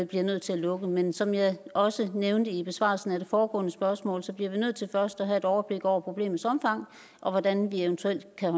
bliver nødt til at lukke men som jeg også nævnte i besvarelsen af det foregående spørgsmål bliver vi nødt til først at have et overblik over problemets omfang og hvordan vi eventuelt kan